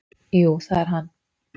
"""Jú, það er hann."""